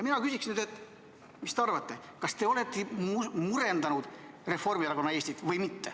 Mina küsiks nüüd, et mis te arvate, kas te olete murendanud Reformierakonna Eestit või mitte.